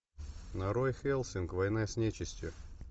нарой хеллсинг война с нечистью